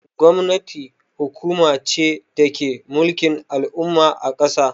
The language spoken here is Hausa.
Gwamnati hukuma ce dake mulkin al'umma a kasa.